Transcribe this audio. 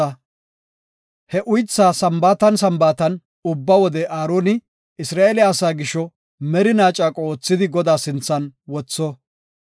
Ha uythaa Sambaatan Sambaatan ubba wode Aaroni Isra7eele asaa gisho merinaa caaqo oothidi Godaa sinthan wotho.